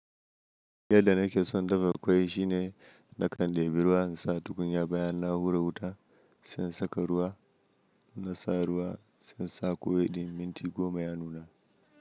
Yadda nake son dafa ƙwai shine na kan ɗebi ruwa in sa tukunyar bayan na hura wuta, sai in saka ruwa, in na sa ruwa sai in sa ƙwai ɗin minti goma ya nuna.